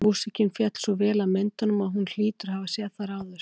Músíkin féll svo vel að myndunum að hún hlýtur að hafa séð þær áður.